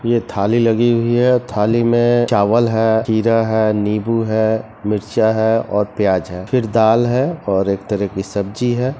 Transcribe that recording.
ये थाली लगी हुई है और थाली में चावल है खीरा है नीबू है मिरचा है और प्याज है फिर दाल है और एक तरह की सब्जी है।